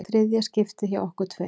Þriðja skiptið hjá okkur tveim.